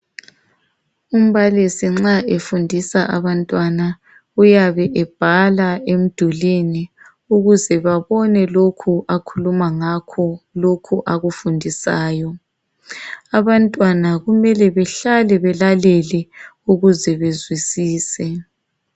Umbalisi nxa efundisa abantwana uyabe ebhala emdulwini ukuze babone lokho akhuluma ngakho, lokhu akufundisayo. Abantwana kumele behlale belalele ukuze bezwisise.